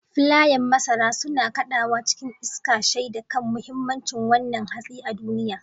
Filayen masara suna kaɗawa cikin iska, shaida kan muhimmancin wannan hatsi a duniya.